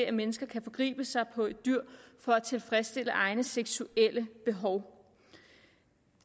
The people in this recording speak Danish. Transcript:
at mennesker kan forgribe sig på et dyr for at tilfredsstille egne seksuelle behov